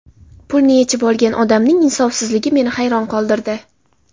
Pulni yechib olgan odamning insofsizligi meni hayron qoldirdi.